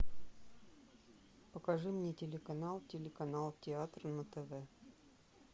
покажи мне телеканал телеканал театр на тв